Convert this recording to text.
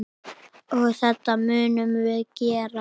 Og þetta munum við gera.